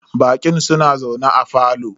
Baƙin suna zaune a parlour.